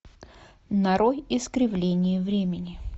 нарой искривление времени